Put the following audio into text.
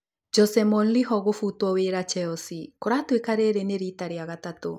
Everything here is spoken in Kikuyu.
Jose Mourinho gũbutwo wĩra Chelsea. Kũratuĩka rĩrĩ nĩ rita rĩa gatatũ